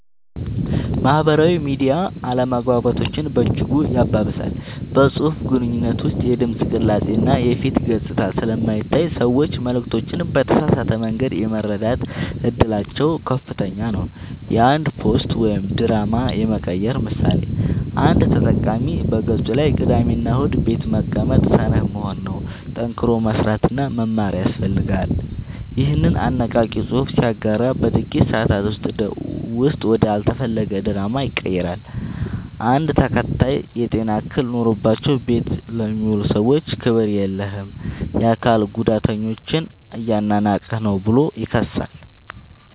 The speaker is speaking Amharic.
ማህበራዊ ሚዲያ አለመግባባቶችን በእጅጉ ያባብሳል። በፅሁፍ ግንኙነት ውስጥ የድምፅ ቅላፄ እና የፊት ገፅታ ስለማይታይ ሰዎች መልዕክቶችን በተሳሳተ መንገድ የመረዳት እድላቸው ከፍተኛ ነው። የአንድ ፖስት ወደ ድራማ የመቀየር ምሳሌ፦ አንድ ተጠቃሚ በገፁ ላይ "ቅዳሜና እሁድ ቤት መቀመጥ ሰነፍ መሆን ነው፣ ጠንክሮ መስራትና መማር ያስፈልጋል" ይኸንን አነቃቂ ፅሑፍ ሲያጋራ በጥቂት ሰአታት ውስጥ ወደ አልተፈለገ ድራማ ይቀየራል። አንድ ተከታይ "የጤና እክል ኖሮባቸው ቤት ለሚውሉ ሰዎች ክብር የለህም! የአካል ጉዳተኞችን እያናናቅህ ነው ብሎ ይከሳል።